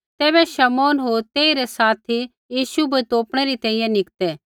तैबै शमौन होर तेई रै साथी यीशु बै तोपणै री तैंईंयैं निकतै